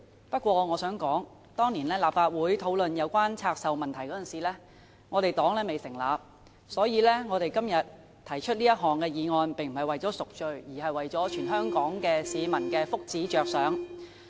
不過，我想說的是當年立法會討論有關拆售問題時，我們新民黨尚未成立，所以我們今天提出這項議案並非為了贖罪，而是為了全港市民的福祉着想。